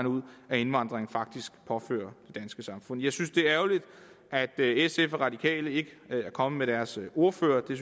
ud indvandring faktisk påfører og danske samfund jeg synes det er ærgerligt at sf og radikale ikke er kommet med deres ordførere det